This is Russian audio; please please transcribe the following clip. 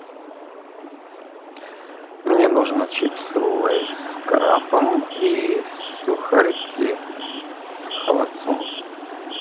мне нужно чипсы лейс с крабом и сухарики с холодцом